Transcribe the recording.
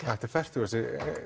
þetta er fertugasta